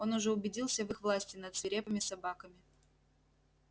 он уже убедился в их власти над свирепыми собаками